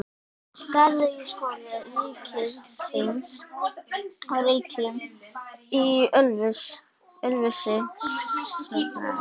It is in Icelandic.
Garðyrkjuskóli ríkisins á Reykjum í Ölfusi stofnaður.